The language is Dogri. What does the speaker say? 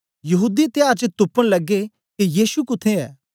यहूदी त्याहर च तुपन लगे के यीशु कुत्थें ऐ